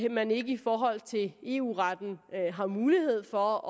man ikke i forhold til eu retten har mulighed for